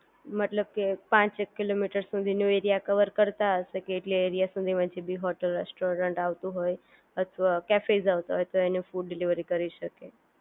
મતલબ કે પાંચેક કિલોમીટર સુધીનો એરિયા કવર કરતા હશે કે એટલા એરિયા સુધીમાં જે ભી હોટેલ, રેસ્ટોરન્ટ આવતું હોય અથવા કેફેસ આવતા હોય એને ફૂડ ડિલિવરી કરી શકે